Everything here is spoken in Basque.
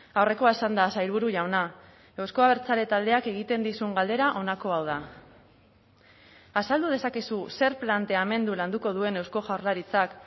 aurrekoa esanda sailburu jauna euzko abertzale taldeak egiten dizun galdera honako hau da azaldu dezakezu zer planteamendu landuko duen eusko jaurlaritzak